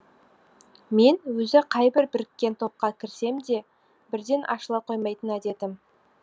мен өзі қайбір біріккен топқа кірсем де бірден ашыла қоймайтын әдетім